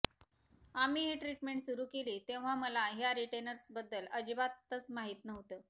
आम्ही ही ट्रिटमेंट सुरू केली तेव्हा मला ह्या रिटेनर्सबद्दल अजिबातच माहित नव्हतं